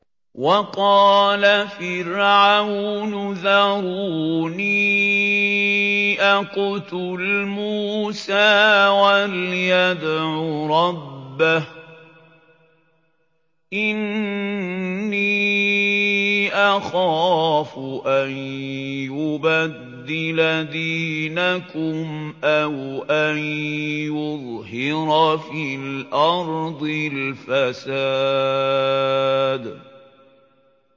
وَقَالَ فِرْعَوْنُ ذَرُونِي أَقْتُلْ مُوسَىٰ وَلْيَدْعُ رَبَّهُ ۖ إِنِّي أَخَافُ أَن يُبَدِّلَ دِينَكُمْ أَوْ أَن يُظْهِرَ فِي الْأَرْضِ الْفَسَادَ